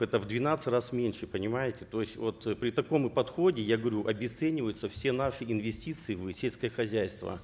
это в двенадцать раз меньше понимаете то есть вот при таком подходе я говорю обесцениваются все наши инвестиции в сельское хозяйство